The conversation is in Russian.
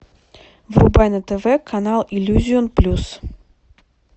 врубай на тв канал иллюзион плюс